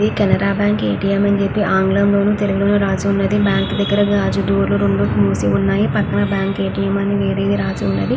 Canara bank ATM అని చెప్పి ఆంగ్లంలోనూ తెలుగులోనూ రాసి ఉన్నది బ్యాంకు దగ్గర రెండు డోర్లు మూసి ఉన్నాయి పక్కన ఏటీఎం బ్యాంక్ అని వేరేగా రాసి ఉన్నది.